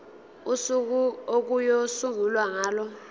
usuku okuyosungulwa ngalo